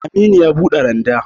Aminu ya buɗe randa